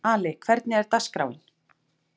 Ali, hvernig er dagskráin?